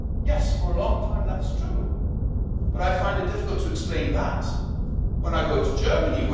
Yes, for a long time that was true, but I find it difficult to explain that when I go to Germany.